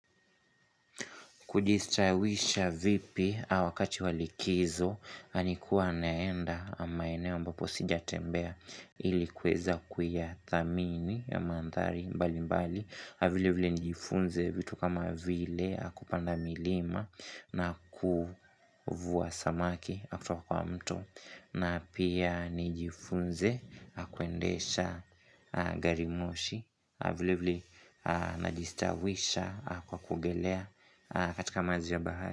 Kujistawisha vipi a wakati wa likizo, anikuwa anaenda a maeneo ambapo sijatembea ilikuweza kuyathamini mandhari mbali mbali, a vile vile nijifunze vitu kama vile a kupanda milima na kuvua samaki akutwa kwa mto na pia nijifunze akwendesha garimoshi Avilevile najistawisha a kwa kuogelea a katika maji ya bahari.